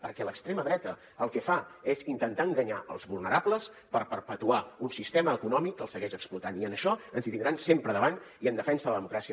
perquè l’extrema dreta el que fa és intentar enganyar els vulnerables per perpetuar un sistema econòmic que els segueix explotant i en això ens hi tindran sempre davant i en defensa de la democràcia